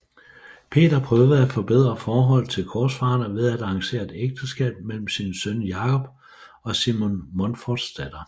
Peter prøvede at forbedre forholdet til korsfarerne ved at arrangere et ægteskab mellem sin søn Jakob og Simon Monforts datter